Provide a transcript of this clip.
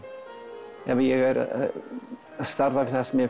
ef ég er að starfa við það sem ég